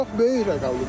Bu çox böyük rəqəmdir.